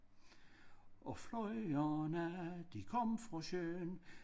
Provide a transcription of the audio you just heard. Og flyverne de kom fra søen